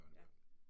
Ja